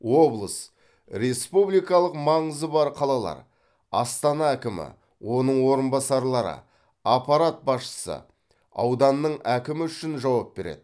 облыс республикалық маңызы бар қалалар астана әкімі оның орынбасарлары аппарат басшысы ауданның әкімі үшін жауап береді